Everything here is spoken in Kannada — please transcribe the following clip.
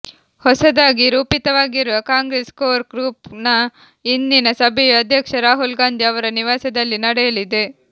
ಹೊಸದಾಗಿ ರೂಪಿತವಾಗಿರುವ ಕಾಂಗ್ರೆಸ್ ಕೋರ್ ಗ್ರೂಪ್ ನ ಇಂದಿನ ಸಭೆಯು ಅಧ್ಯಕ್ಷ ರಾಹುಲ್ ಗಾಂಧಿ ಅವರ ನಿವಾಸದಲ್ಲಿ ನಡೆಯಲಿದೆ